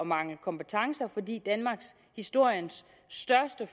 mangle kompetencer fordi danmarkshistoriens største